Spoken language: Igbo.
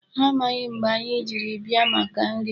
Ha amaghị mgbe anyị ji bịa maka nri.